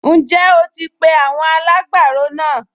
Ǹjẹ́ o ti pe àwọn alágbàro náà?